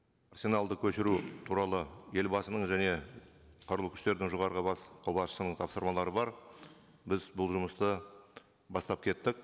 көшіру туралы елбасының және қарулы күштердің жоғарғы қолбасшысының тапсырмалары бар біз бұл жұмысты бастап кеттік